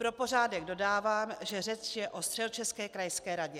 Pro pořádek dodávám, že řeč je o středočeské krajské radě.